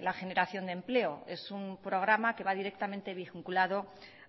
la generación de empleo es un programa que va directamente vinculado